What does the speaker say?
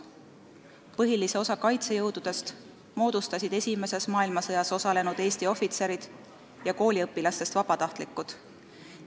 Põhilise osa kaitsejõududest moodustasid esimeses maailmasõjas osalenud Eesti ohvitserid ja kooliõpilastest vabatahtlikud.